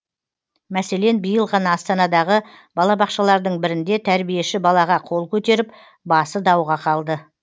мәселен биыл ғана астанадағы балабақшалардың бірінде тәрбиеші балаға қол көтеріп басы дауға қалды